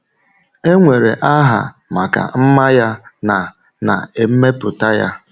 E nwere aha maka mma ya na na mmepụta ya.